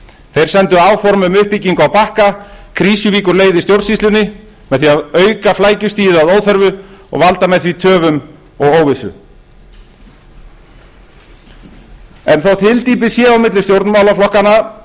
þeir sendu áform um uppbyggingu á bakka krýsuvíkurleið í stjórnsýslunni með því að auka flækjustigið að óþörfu og valda með því töfum og óvissu en þótt hyldýpi sé á milli stjórnarflokkanna